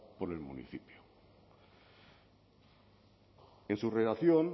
por el municipio en su redacción